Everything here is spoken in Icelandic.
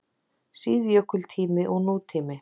SÍÐJÖKULTÍMI OG NÚTÍMI